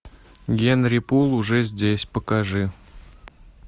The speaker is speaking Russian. генри пул уже здесь покажи